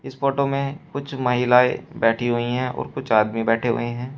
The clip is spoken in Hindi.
इस फोटो में कुछ महिलाएं बैठी हुई हैं और कुछ आदमी बैठे हुए हैं।